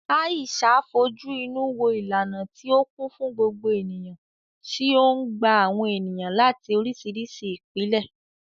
Aisha fojú inú wo ìlànà tí ó kún fún gbogbo ènìyàn tí ó ń gba àwọn ènìyàn láti oríṣiríṣi ìpìlẹ̀.